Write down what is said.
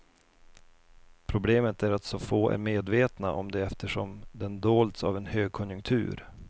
Problemet är att så få är medvetna om det eftersom den dolts av en högkonjunktur.